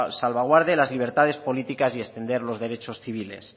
salvaguarde las libertades políticas y extender los derechos civiles